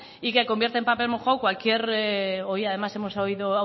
y que convierte en papel mojado cualquier hoy además